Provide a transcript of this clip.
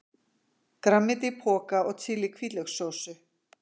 grænmeti í poka og chili-hvítlaukssósu.